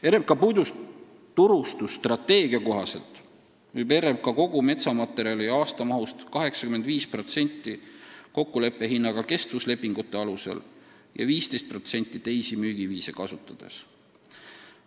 Oma puiduturustusstrateegia kohaselt müüb RMK kogu metsamaterjali aastamahust 85% kokkuleppehinnaga kestvuslepingute alusel ja 15% teisi müügiviise kasutades.